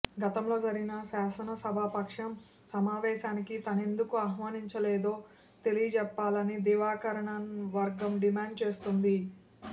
గతంలో జరిగిన శాసనసభా పక్షం సమావేశానికి తమనెందుకు ఆహ్వానించలేదో తెలియజెప్పాలని దినకరన్ వర్గం డిమాండుచేస్తోంది